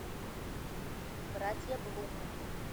братья блум